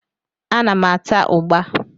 Ana m ata ụgbá.